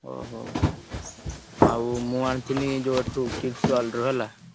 ଓହୋ! ଆଉ ମୁଁ ଆଣିଥିଲି ଯୋଉ ଏଠୁ Kids World ରୁ ହେଲା।